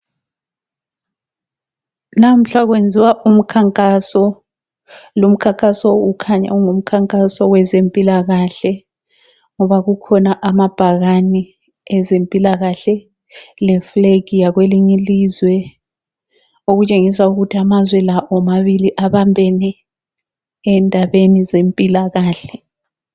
Lamhla kwenziwa umkhankaso, lumkhankaso ukhanya ungumkhankaso wezempilakahle. Ngoba kukhona amabhakane ezempilakahle. Lefulegi yakwelinye ilizwe, okutshengisa ukuthi amazwe la omabili ababembene endabeni zempilakahle.